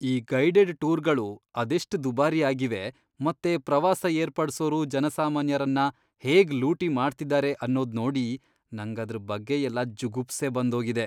ಈ ಗೈಡೆಡ್ ಟೂರ್ಗಳು ಅದೆಷ್ಟ್ ದುಬಾರಿ ಆಗಿವೆ ಮತ್ತೆ ಪ್ರವಾಸ ಏರ್ಪಡ್ಸೋರು ಜನಸಾಮಾನ್ಯರನ್ನ ಹೇಗ್ ಲೂಟಿ ಮಾಡ್ತಿದಾರೆ ಅನ್ನೋದ್ ನೋಡಿ ನಂಗದ್ರ್ ಬಗ್ಗೆಯೆಲ್ಲ ಜುಗುಪ್ಸೆ ಬಂದೋಗಿದೆ.